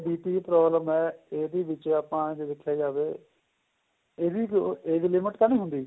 BP ਦੀ problem ਏ ਇਹਦੇ ਵਿੱਚ ਆਪਾਂ ਜੇ ਦੇਖਿਆ ਜਾਵੇ ਇਹਦੀ ਕੋਈ age limit ਤਾਂ ਨਹੀਂ ਹੁੰਦੀ